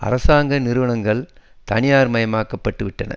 அரசாங்க நிறுவனங்கள் தனியார் மயமாக்கப்பட்டு விட்டன